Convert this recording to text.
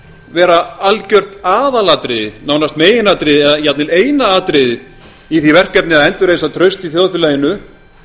vera algjört aðalatriði nánast meginatriði eða jafnvel eina atriðið í því verkefni að endurreisa traust í þjóðfélaginu